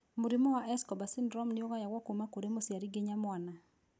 Mũrimũ wa Escobar syndrome nĩũgayagwo kuma kũrĩ mũciari nginya mwana